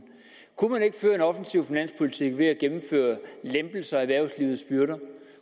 offensiv finanspolitik ved at gennemføre lempelser af erhvervslivets byrder